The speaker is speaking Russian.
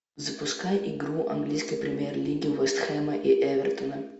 запускай игру английской премьер лиги вест хэма и эвертона